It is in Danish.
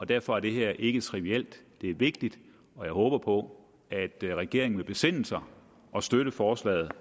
derfor er det her ikke trivielt det er vigtigt og jeg håber på at regeringen vil besinde sig og støtte forslaget